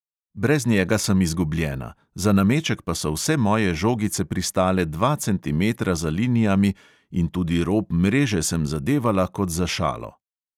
Brez njega sem izgubljena, za nameček pa so vse moje žogice pristale dva centimetra za linijami in tudi rob mreže sem zadevala kot za šalo.